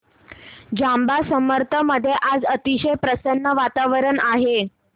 जांब समर्थ मध्ये आज अतिशय प्रसन्न वातावरण आहे